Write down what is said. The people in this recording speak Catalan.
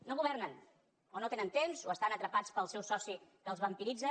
no governen o no tenen temps o estan atrapats pel seu soci que els vampiritza